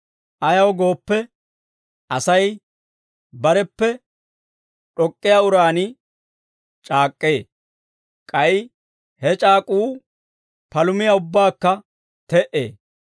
Ayaw gooppe, Asay bareppe d'ok'k'iyaa uraan c'aak'k'ee; k'ay he c'aak'uu palumiyaa ubbaakka te"ee.